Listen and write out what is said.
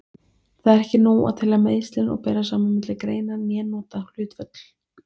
Það er ekki nóg að telja meiðslin og bera saman milli greina né nota hlutföll.